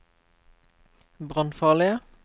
brannfarlige